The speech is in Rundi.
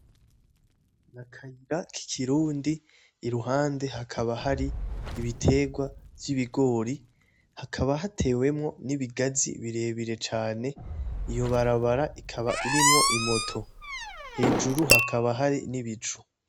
Akayira kikirundi iruhande hakaba hari ibitegwa vy'ibigori hakaba hatewemwo n'ibigazi birebire cane iyo barabara ikaba irimwo imoto hejuru hakaba hari n'ibicu